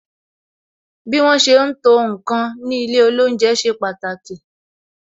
Bí wọn ṣe ń to ǹkan ní ilé olounje ṣe pàtàkì